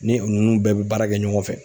Ni u nunnu bɛɛ be baara kɛ ɲɔgɔn fɛ.